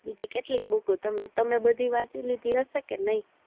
બીજી કેટલી book તમે તમે બધી વાચી લીધી હયશે કે નય